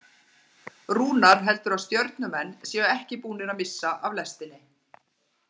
Rúnar heldur að Stjörnumenn séu ekki búnir að missa af lestinni.